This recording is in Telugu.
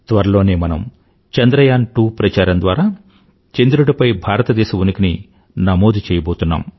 త్వరలోనే మనం చంద్రయాన్ 2 ప్రచారం ద్వారా చంద్రుడిపై భారతదేశ ఉనికిని నమోదు చెయ్యబోతున్నాం